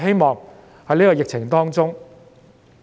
在今次疫情當中......